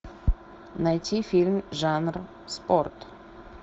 найти фильм жанр спорт